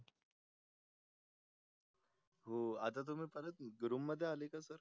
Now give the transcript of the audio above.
आता तुम्ही परत room मध्ये आले का sir